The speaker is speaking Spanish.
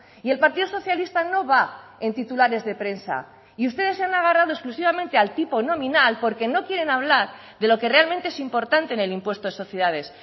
y el partido socialista no va en titulares de prensa y ustedes se han agarrado exclusivamente al tipo nominal porque no quieren hablar de lo que realmente es importante en el impuesto de sociedades